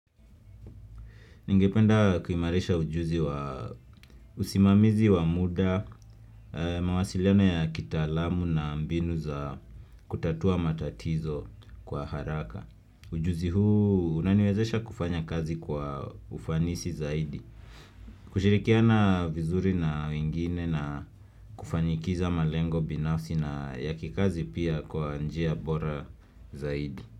Ningependa kuimarisha ujuzi wa usimamizi wa muda, mawasiliano ya kitaalamu na mbinu za kutatua matatizo kwa haraka. Ujuzi huu unaniwezesha kufanya kazi kwa ufanisi zaidi. Kushirikiana vizuri na wengine na kufanikiza malengo binafsi na yakikazi pia kwa njia bora zaidi.